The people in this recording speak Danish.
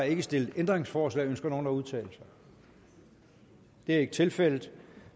ikke stillet ændringsforslag ønsker nogen at udtale sig det er ikke tilfældet